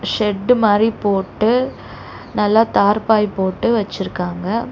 Shed மாரி போட்டு நல்லா தார்ப்பாய் போட்டு வச்சிருக்காங்க.